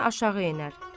Rəna aşağı enər.